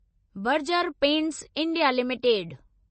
Berger paints India limited